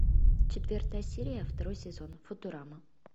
четвертая серия второй сезон футурама